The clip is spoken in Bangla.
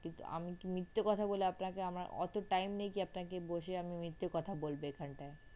আমি কি মিথ্যে কথা বলে আপনাকে অতো time নেই যে আপনাকে মিথ্যে কথা বলবো এখানটায়।